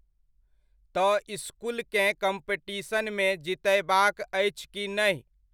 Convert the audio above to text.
तऽ इसकुलकेँ कम्पीटशनमे जितयबाक अछि की नहि ?